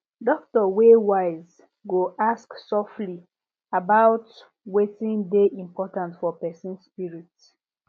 doctor wey wise go ask softly about wetin dey important for person spirit